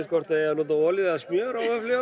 hvort það eigi að nota olíu eða smjör